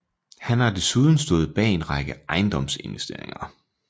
Han har desuden stået bag en række ejendomsinvesteringer